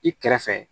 I kɛrɛfɛ